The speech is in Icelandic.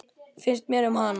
Finnst mér um hana?